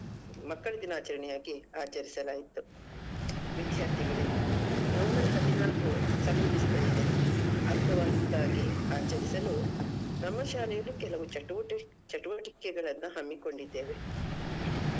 ಮಕ್ಕಳ ದಿನಾಚಣೆಯಾಗಿ ಆಚರಿಸಲಾಯ್ತು. ವಿದ್ಯಾರ್ಥಿಗಳೇ November ಹದಿನಾಲ್ಕು ಸಮಿಪಿಸ್ತಾ ಇದೆ ಅರ್ಥವತ್ತಾಗಿ ಆಚರಿಸಲು ನಮ್ಮ ಶಾಲೆಯಲ್ಲಿ ಕೆಲವು ಚಟುವಟಿ~ ಚಟುವಟಿಕೆಗಳನ್ನ ಹಮ್ಮಿಕೊಂಡಿದ್ದೇವೆ.